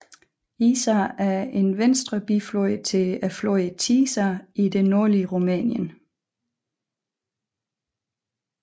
Iza er en venstre biflod til floden Tisa i det nordlige Rumænien